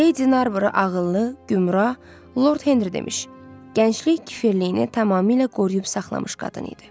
Lady Narbor ağıllı, gümrah, Lord Henri demiş, gənclik kəfiliyini tamamilə qoruyub saxlamış qadın idi.